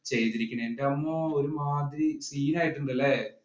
ചെയ്തിരിക്കുന്നത്. എന്റമ്മോ ഒരുമാതിരി scene ആയിട്ടുണ്ട് അല്ലേ?